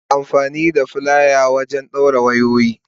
Ana amfani da filaya wajen dawrin wayoyi.